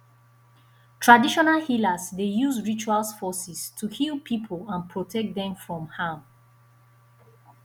traditional healers dey use rituals forces to heal people and protect dem from harm